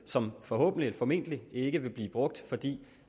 som forhåbentlig formentlig ikke vil blive brugt fordi